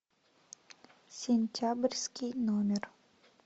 сентябрьский номер